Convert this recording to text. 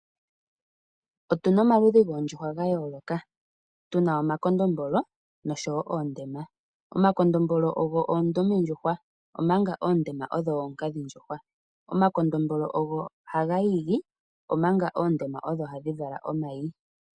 Otuna omaludhi goondjuhwa ga yooloka, tuna omakondombolo noshowo oondema. Omakondombolo ogo oondumendjuhwa omanga oondema odho ookadhindjuhwa, omakondombolo ogo haga igi omanga oondema odho hadhi vala omayi.